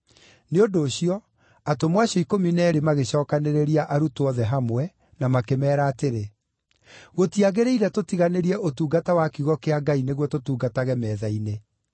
Nĩ ũndũ ũcio, atũmwo acio ikũmi na eerĩ magĩcookanĩrĩria arutwo othe hamwe na makĩmeera atĩrĩ, “Gũtiagĩrĩire tũtiganĩrie ũtungata wa kiugo kĩa Ngai nĩguo tũtungatage metha-inĩ.